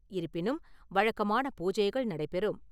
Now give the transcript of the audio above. இருப்பினும், வழக்கமான பூஜைகள் நடைபெறும்.